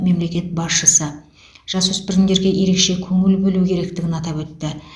мемлекет басшысы жасөспірімдерге ерекше көңіл бөлу керектігін атап өтті